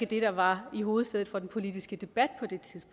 det der var i hovedsædet for den politiske debat